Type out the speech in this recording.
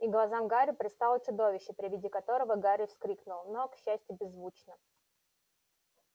и глазам гарри предстало чудовище при виде которого гарри вскрикнул но к счастью беззвучно